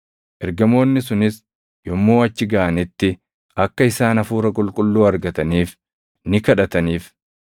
Ergamoonni sunis yommuu achi gaʼanitti akka isaan Hafuura Qulqulluu argataniif ni kadhataniif;